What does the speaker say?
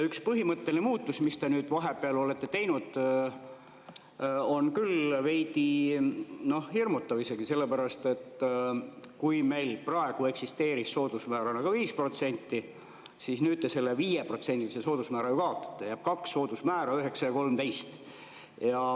Üks põhimõtteline muudatus, mille te nüüd vahepeal olete teinud, on küll veidi hirmutav isegi, sellepärast, et kui meil praegu eksisteeris soodusmäärana ka 5%, siis nüüd te selle 5%‑lise soodusmäära kaotate, jääb kaks soodusmäära: 9% ja 13%.